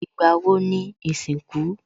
Ìgbà wo ni ìsìnkú?